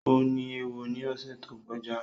O ní éwo ni ọ̀sẹ̀ tó kọjá